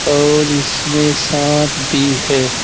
और इसमें सांप भी है।